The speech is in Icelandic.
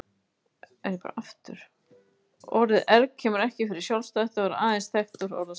Orðið erg kemur ekki fyrir sjálfstætt og er aðeins þekkt úr orðasambandinu.